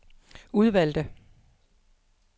udvalgte